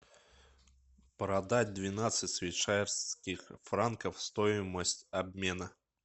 продать двенадцать швейцарских франков стоимость обмена